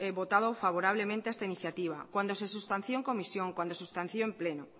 votado favorablemente a esta iniciativa cuando se sustanció en comisión cuando se sustanció en pleno